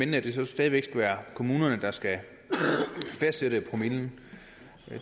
det stadig væk skal være kommunerne der skal fastsætte promillen